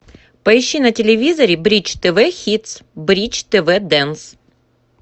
поищи на телевизоре бридж тв хитс бридж тв дэнс